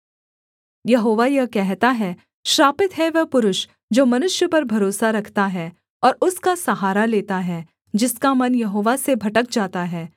यहोवा यह कहता है श्रापित है वह पुरुष जो मनुष्य पर भरोसा रखता है और उसका सहारा लेता है जिसका मन यहोवा से भटक जाता है